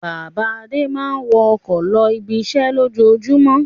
Bàbá Adé máa ń wọ ọkọ̀ lọ ibiṣẹ́ lójoojúmọ́.